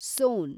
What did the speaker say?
ಸೋನ್